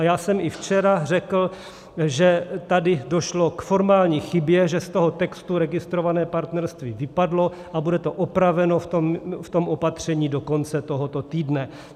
A já jsem i včera řekl, že tady došlo k formální chybě, že z toho textu registrované partnerství vypadlo, a bude to opraveno v tom opatření do konce tohoto týdne.